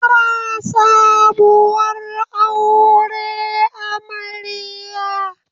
Fara sabuwar aure amarya.